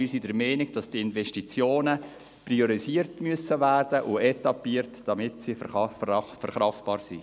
Wir sind der Meinung, dass die Investitionen priorisiert und etappiert werden müssen, damit sie verkraftbar sind.